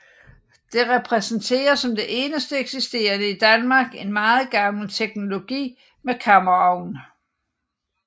Det repræsenterer som det eneste eksisterende i Danmark en meget gammel teknologi med kammerovn